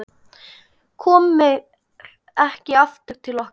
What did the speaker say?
Komir ekki aftur til okkar.